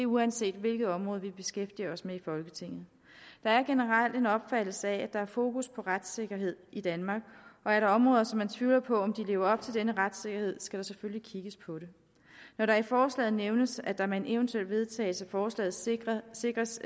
uanset hvilket område vi beskæftiger os med i folketinget der er generelt en opfattelse af at der er fokus på retssikkerhed i danmark og er der områder som man tvivler på lever op til denne retssikkerhed skal der selvfølgelig kigges på det når der i forslaget nævnes at der med en eventuel vedtagelse af forslaget sikres sikres